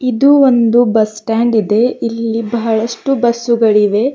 ಇದು ಒಂದು bus stand ಇದೆ ಇಲ್ಲಿ ಬಹಳಷ್ಟು ಬಸ್ಸುಗಳಿವೆ.